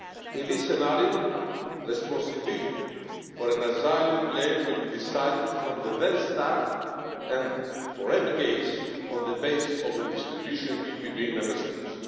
In this scenario, responsibility for an asylum claim would be decided from the very start and for every case on the basis of distribution between Member States.